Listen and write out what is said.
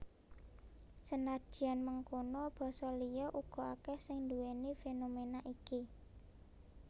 Senadyan mengkono basa liya uga akèh sing nduwèni fénoména iki